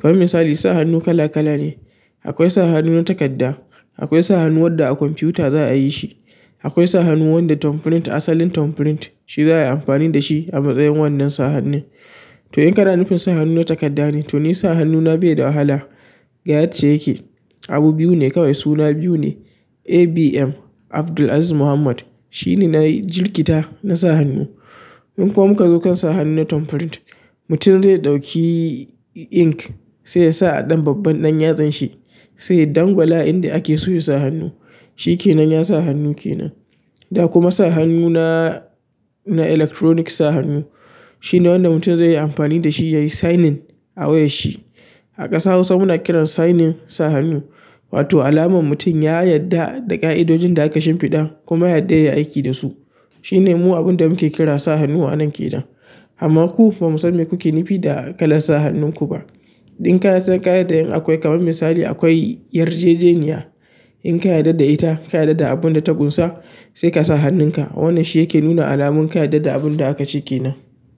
kaman misali sa hannu kala kala ne. Akwai sa hannu na takadda, akwai sa hannu wanda a kwamfuta za a yi shi, akwai sa hannu wanda tonprint asalin tonprint shi za a yi amfani da shi a matsayin wannan sa hannun. To in kana nufin sa hannu na takadda ne, to ni sa hannuna bai da wahala. Ga yacca yake. Abu biyu ne kawai suna biyu ne ABM Abdulaziz Muhammad. Shine na jirkita na sa hannu. In kuma ka zo kan sa hannu na tonprint, mutum zai ɗauki ink sai yasa a dan babban ɗan yatsanshi sai ya dangwala inda ake so ya sa hannu. Shikenan na sa hannu kenan da kuma sa hannu na, na electronic sa hannu. Shine wannan mutum zai yi amfani dashi yayi signing a wayan shi a ƙasa Hausa muna kiran signing sa hannu, wato alamar mutum ya yadda da ƙa'idojin da aka shimfiɗa kuma ya yarda ya yi aiki da su. Shine mu abinda muke ƙira sa hannu anan kenan amma ku bamu san me kuke nufi da kalan sa hannun ku ba in kasan ka yarda in akwai kaman misali akwai yarjejeniya in ka yarda da ita, ka yarda da abun da ta ƙunsa sai ka sa hannunka. Wannan shi yake nuna alamun ka yarda da abun da aka ce ke nan.